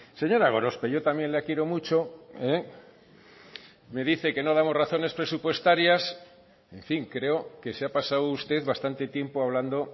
señora gorospe yo también la quiero mucho me dice que no damos razones presupuestarias en fin creo que se ha pasado usted bastante tiempo hablando